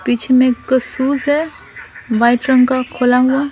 पीछे में एक शूज है वाइट रंग का खुला हुआ।